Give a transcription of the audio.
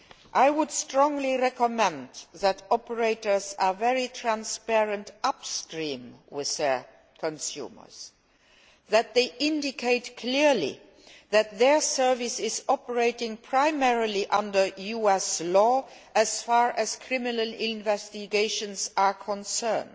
I would strongly recommend that operators be very transparent upstream with their consumers and that they indicate clearly that their service is operating primarily under US law as far as criminal investigations are concerned.